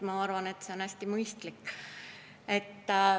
Ma arvan, et see on hästi mõistlik.